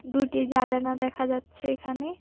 দুটি জালানা দেখা যাচ্ছে এখানে।